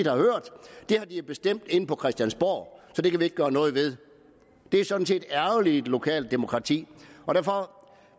har de jo bestemt inde på christiansborg så det kan vi ikke gøre noget ved det er sådan set ærgerligt i et lokalt demokrati derfor